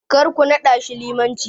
Karku naɗashi limanci.